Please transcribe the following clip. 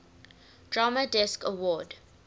drama desk award